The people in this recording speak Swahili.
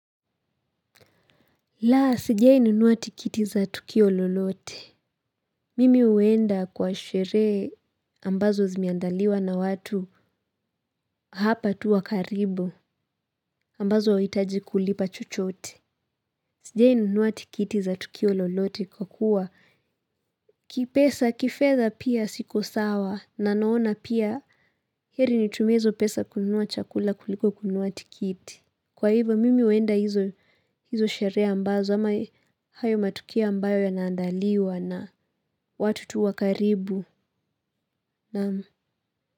Laa, sijai nunua tikiti za tukio lolote. Mimi huenda kwa sherehe ambazo zimeandaliwa na watu hapa tu wa karibu ambazo huitaji kulipa chochote. Sijai nunua tikiti za tukio lolote kwa kuwa kipesa kifedha pia siko sawa na naona pia heri nitumie hizo pesa kununua chakula kuliko kununua tikiti. Kwa hivo mimi huenda hizo sherehe ambazo ama hayo matukio ambayo ya naandaliwa na watu tu wa karibu.